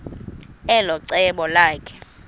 elo cebo lakhe